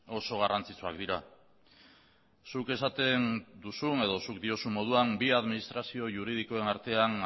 oso garrantzitsuak dira zuk esaten duzun edo zuk diozun moduan bi administrazio juridikoen artean